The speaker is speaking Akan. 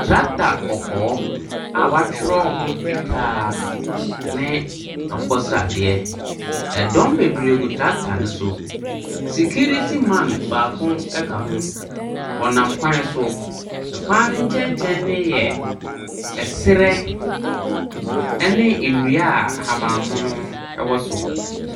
Tractor kɔkɔɔ a wɔatwerɛ ho fitaa ne akokɔ sradeɛ. Dɔm bebree gu tractor no so. Sikiriti man baako ka ho. Wɔnam kwan so. Kwan no nkyɛnkyɛn no yɛ serɛ ne nnua a ahaban mono wɔ so.